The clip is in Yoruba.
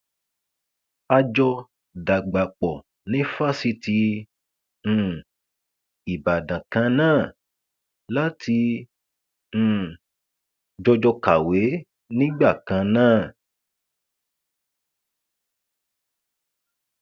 a jọ dàgbà pọ ní fásitì um ìbàdàn kan náà la ti um jọjọ kàwé nígbà kan náà